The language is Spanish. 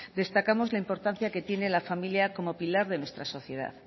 destacamos la importancia que tiene la familia como pilar de nuestra sociedad